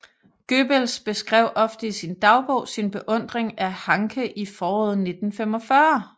Goebbels beskrev ofte i sin dagbog sin beundring af Hanke i foråret 1945